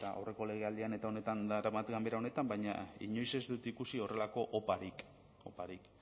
eta aurreko legealdian eta honetan daramadan ganbera honetan baina inoiz ez dut ikusi horrelako oparik